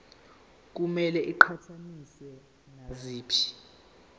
kumele iqhathaniswe naziphi